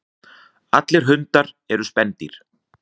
Allir hundar eru spendýr.